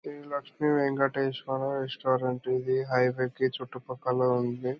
Shri Lakshmi Venkateswara restaurant ఉంది. ఇది highway కి చుట్టు పక్కల ఉంది.